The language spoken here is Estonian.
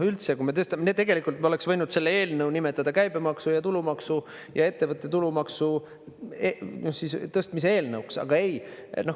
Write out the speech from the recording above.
Tegelikult me oleks võinud selle eelnõu nimetada käibemaksu ja tulumaksu ja ettevõtte tulumaksu tõstmise eelnõuks, aga ei.